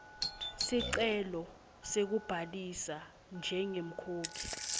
sicelo sekubhalisa njengemkhokhi